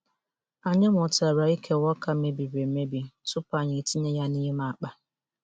Anyị mụtara ikewa ọka mebiri emebi tupu anyị tinye ya n'ime akpa.